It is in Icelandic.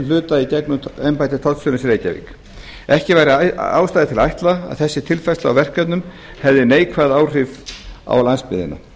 hluta í gegnum embætti tollstjórans í reykjavík ekki væri ástæða til að ætla að þessi tilfærsla á verkefnum hefði neikvæð áhrif á landsbyggðina